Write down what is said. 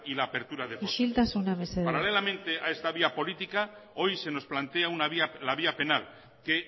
la apertura de isiltasuna mesedez paralelamente a esta vía política hoy se nos plantea la vía penal que